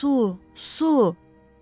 Su, su!